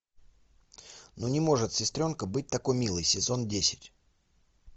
ну не может сестренка быть такой милой сезон десять